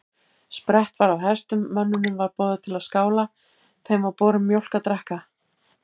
Sprett var af hestum, mönnunum var boðið til skála, þeim var borin mjólk að drekka.